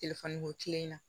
Telefɔni ko tilenna